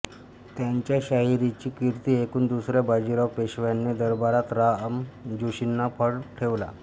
त्यांच्या शाहिरीची कीर्ती ऐकून दुसऱ्या बाजीराव पेशव्याने दरबारात राम जोशींचा फड ठेवला